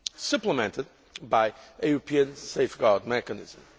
system supplemented by a European safeguard mechanism.